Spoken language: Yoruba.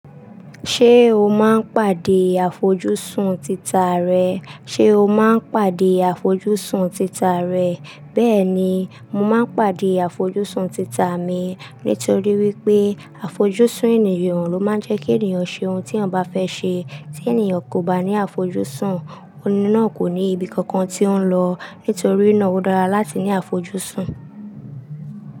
Ṣé o máa ń pàdé àfojúsùn tita rẹ? Ṣé o máa ń pàdé àfojúsùn tita rẹ? Bẹ́ẹ̀ ni, mo máa ń pàdé àfojúsùn tita mi nítorí wípé àfojúsùn ènìyàn ló máa ń jẹ́ kí ènìyàn ṣe ohun tí òun bá fẹ́ ṣe. Tí ènìyàn kò bá ní àfojúsùn, òní náà kò ní ibi kankan tí ó ń lọ. Nítorí náà, ó dára láti ní àfojúsùn.